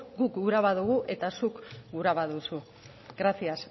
guk gura badugu eta zuk gura baduzu gracias